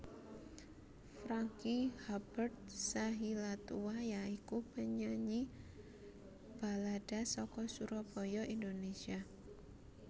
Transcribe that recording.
Franky Hubert Sahilatua ya iku penyanyi balada saka Surabaya Indonésia